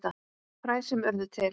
Fræ sem urðu til.